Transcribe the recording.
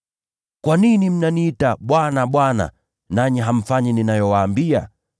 “Kwa nini mnaniita, ‘Bwana, Bwana,’ nanyi hamfanyi ninayowaambia?